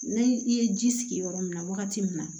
Ni i ye ji sigi yɔrɔ min na wagati min na